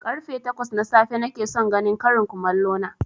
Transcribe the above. Karfe takwas na safe nakeson ganin ƙarin komallo na